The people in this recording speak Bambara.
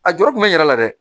A jɔrɔ tun bɛ yɛrɛ la dɛ